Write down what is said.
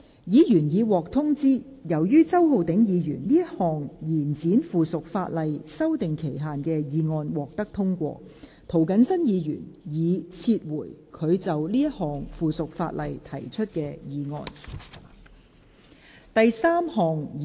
議員已獲通知，由於周浩鼎議員這項延展附屬法例修訂期限的議案獲得通過，涂謹申議員已撤回他就這項附屬法例提出的議案。